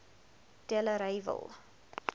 delareyville